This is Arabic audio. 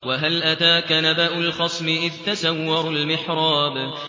۞ وَهَلْ أَتَاكَ نَبَأُ الْخَصْمِ إِذْ تَسَوَّرُوا الْمِحْرَابَ